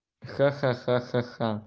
ха-ха-ха-ха-ха